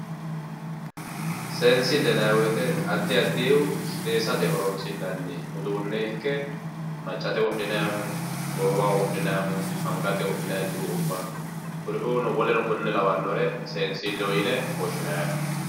Seensille yinayi woyiite addi addihu seesate horonsi'nanni uuduunne ikke maccate wodhinayiihu goowaho wodhinayiihu angate wodhinayi cuu"ubba kuriu woleno konne lawannore seensilleho yine woshshinayi yaate